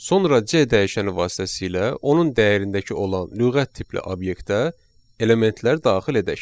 Sonra C dəyişəni vasitəsilə onun dəyərindəki olan lüğət tipli obyektə elementlər daxil edək.